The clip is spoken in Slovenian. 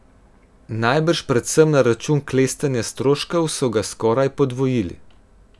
Najbrž predvsem na račun klestenja stroškov so ga skoraj podvojili.